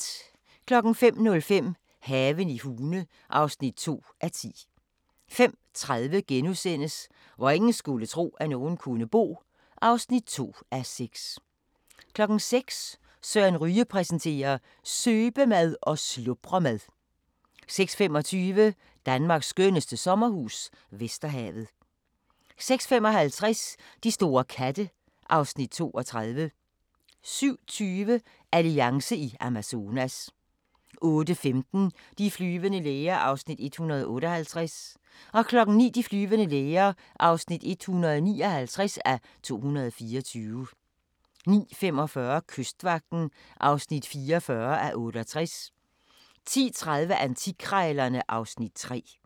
05:05: Haven i Hune (2:10) 05:30: Hvor ingen skulle tro, at nogen kunne bo (2:6)* 06:00: Søren Ryge præsenterer: Søbemad og slubremad 06:25: Danmarks skønneste sommerhus - Vesterhavet 06:55: De store katte (Afs. 32) 07:20: Alliance i Amazonas 08:15: De flyvende læger (158:224) 09:00: De flyvende læger (159:224) 09:45: Kystvagten (44:68) 10:30: Antikkrejlerne (Afs. 3)